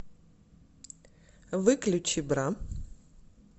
выключи бра